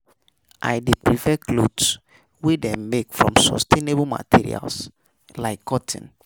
I dey prefer to buy clothes wey dem make from sustainable materials like cotton.